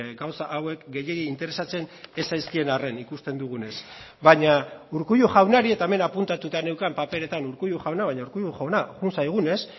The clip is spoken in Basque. gauza hauek gehiegi interesatzen ez zaizkien arren ikusten dugunez baina urkullu jaunari eta hemen apuntatuta neukan paperetan urkullu jauna baina urkullu jauna joan zaigunez